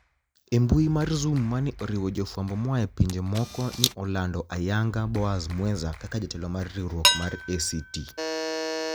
E mbui mar zoom mani e oriwo jofwambo moaye pinije moko ni e olanid ayaniga Boaz mweza kaka jatelo mar riwruok mar ACT